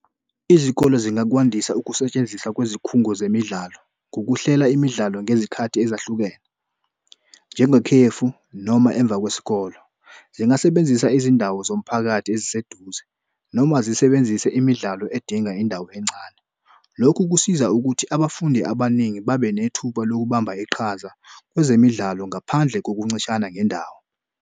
Izikole zingakwandisa ukusetshenziswa kwezikhungo zemidlalo ngokuhlela imidlalo ngezikhathi ezahlukene njengekhefu noma emva kwesikole. Zingasebenzisa izindawo zomphakathi eziseduze noma zisebenzise imidlalo edinga indawo encane. Lokhu kusiza ukuthi abafundi abaningi babe nethuba lokubamba iqhaza kwezemidlalo ngaphandle kokuncishana ngendawo.